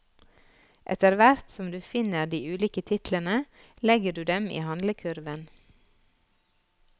Etter hvert som du finner de ulike titlene, legger du dem i handlekurven.